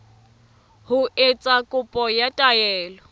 ho etsa kopo ya taelo